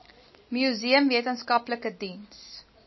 museum wetenskaplike diens